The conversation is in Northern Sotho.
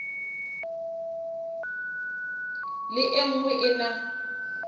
le e nngwe e na